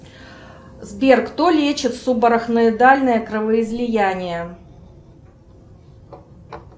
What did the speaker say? сбер кто лечит субарахноидальное кровоизлияние